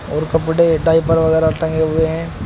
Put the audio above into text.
और कपड़े डायपर वगैरह टंगे हुए हैं।